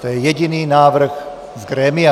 To je jediný návrh z grémia.